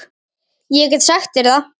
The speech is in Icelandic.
Ég get sagt þér það